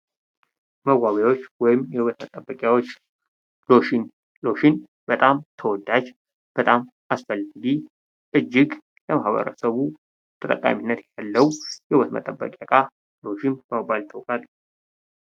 መዋቢያዎች ወይም የውበት መጠበቂያዎች። ሎሽን ሎሽን በጣም ተወዳጅ፣ በጣም አስፈላጊ በማህበረሰቡ ተጠቃሚነት ያለው የውበት መጠበቂያ ሎሽን በመባል ይታወቃል።